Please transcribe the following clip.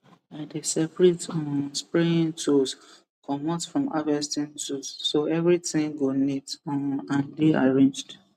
i dey separate um spraying tools comot from harvesting tools so everything go neat um and dey arranged